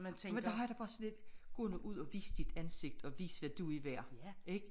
Men der har jeg det bare sådan lidt gå nu ud og vis dit ansigt og vis hvad du er værd ik